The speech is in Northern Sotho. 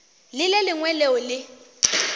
le le lengwe leo le